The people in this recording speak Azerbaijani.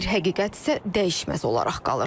Bir həqiqət isə dəyişməz olaraq qalır.